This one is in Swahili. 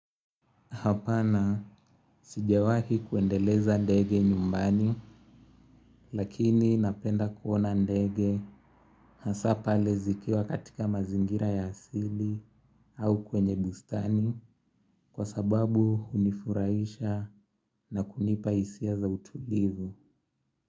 Hapana sijawahi kuendeleza ndege nyumbani lakini napenda kuona ndege hasa pale zikiwa katika mazingira ya asili au kwenye bustani kwa sababu hunifurahisha na kunipa hisia za utulivu.